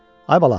Ay bala!